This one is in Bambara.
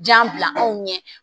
Jan bila anw ɲɛ